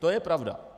To je pravda.